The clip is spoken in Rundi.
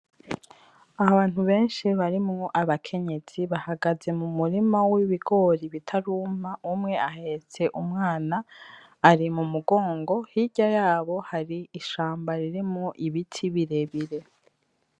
Abantu beshi barimwo abakenyezi bahagaze mu murima w'ibigori bitaruma umwe ahetse umwana ari mu mugongo hirya yabo hari ishamba ririmwo ibiti birebire.